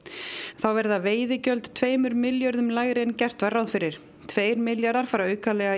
þá verða veiðigjöld tveimur milljörðum lægri en gert var ráð fyrir tveir milljarðar aukalega